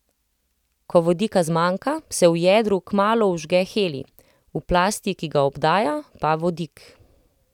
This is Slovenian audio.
Ko vodika zmanjka, se v jedru kmalu vžge helij, v plasti, ki ga obdaja, pa vodik.